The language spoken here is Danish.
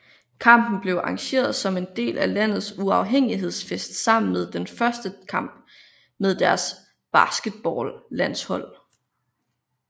Kampen blev arrangeret som en del af landets uafhængighedsfest sammen med den første kamp med deres basketballlandshold